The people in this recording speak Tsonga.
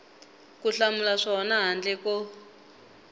ku hlamula swona handle ko